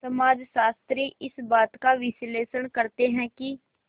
समाजशास्त्री इस बात का विश्लेषण करते हैं कि